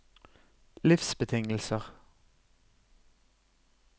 livsbetingelser